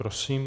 Prosím.